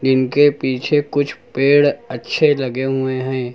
इनके पीछे कुछ पेड़ अच्छे लगे हुए हैं।